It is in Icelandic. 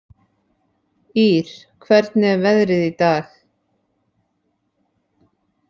Ýr, hvernig er veðrið í dag?